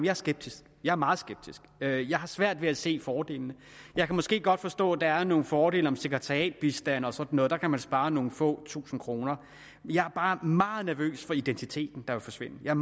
er skeptisk jeg er meget skeptisk jeg jeg har svært ved at se fordelene jeg kan måske godt forstå at der er nogle fordele til sekretariatsbistand og sådan noget der kan man spare nogle få tusinde kroner jeg er bare meget nervøs for at identiteten vil forsvinde jeg